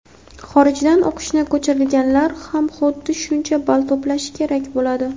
xorijdan o‘qishini ko‘chirganlar ham xuddi shuncha ball to‘plashi kerak bo‘ladi.